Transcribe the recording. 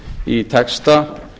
í texta